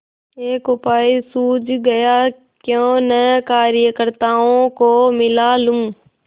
एक उपाय सूझ गयाक्यों न कार्यकर्त्ताओं को मिला लूँ